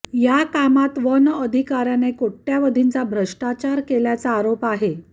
या कामात वन अधिकार्याने कोट्यवधींचा भ्रष्टाचार केल्याचा आरोप करत आ